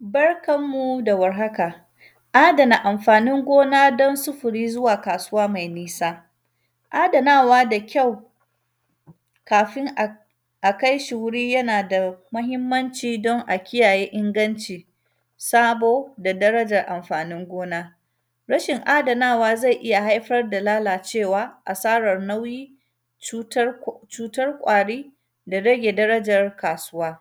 Barkan mu da warhaka, adana amfanin gona don sufuri zuwa kasuwa mai nisa. Adanawa da kyau, kafin ak; a kai shi wuri, yana da mahimmanci don a kiyaye inganci. Sabo da darajar amfanin gona, rashin adanawa zai iya haifar da lalacewa, asarar nauyi, cutar k; cutar ƙwari da rage darajar kasuwa.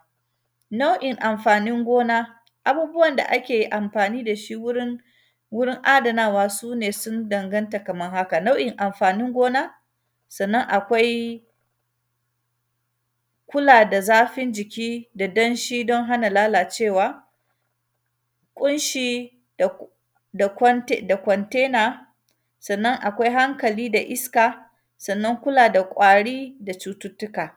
Nau’in amfanin gona, abubuwan da ake amfani da shi wurin, wurin adanawa, su ne sun danganta kaman haka. Nau’in amfanin gona, sannan, akwai kula da zafin jiki da danshi don hana lalacewa, ƙunshi da ku; da kwsntsi; da kwantaina. Sannan, akwai hankali da iska, sannan kula da ƙwari da cututtuka.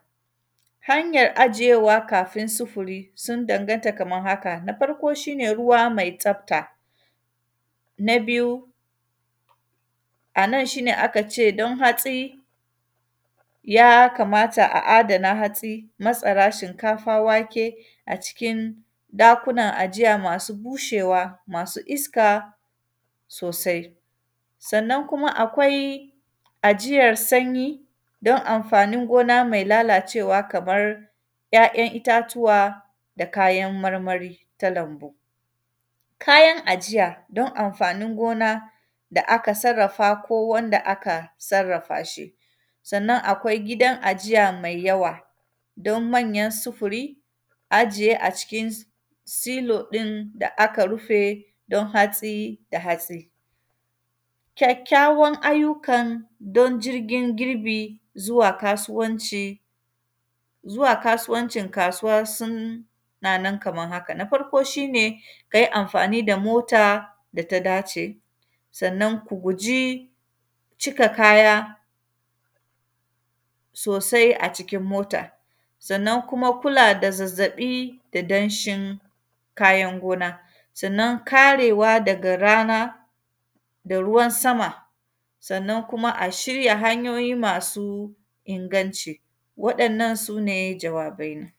Hanyar ajiyewa kafin sifuri, sun danganta kaman haka, na farko, shi ne ruwa mai tsafta, na biyu, a nan shi ne aka ce don hatsi, ya kamata a adana hatsi, matsara, shinkafa, wake a cikin dakunan ajiya masu bushewa, masu iska sosai. Sannan kuma, akwai ajiyar sanyi, don amfani gona mai lalacewa kamar ‘ya’yan itatuwa, da kayan marmari ta lambu. Kayan ajiya don amfani gona da aka sarrafa ko wanda aka sarrafa shi, sannan, akwai gidan ajiya mai yawa don manyan sifuri, ajiye a cikin s; silo ɗin da aka rufe don hatsi da hatsi. Kyakkyawan ayyukan don jirgin girbi zuwa kasuwanci, zuwa kasuwancin kasuwar surli, nan kaman haka. Na farko, shi ne, ka yi amfani da mota da ta dace, sannan, ku guji cika kaya sosai a cikin mota. Sannan kuma, kula da zazzaƃi da danshin kayan gona. Sannan, karewa daga rana da ruwan sama, sannan kuma a shirya hanyoyi masu inganci, waɗannan, su ne jawabaina.